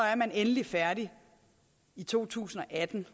endelig er færdig i to tusind og atten